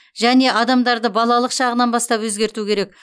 және адамдарды балалық шағынан бастап өзгерту керек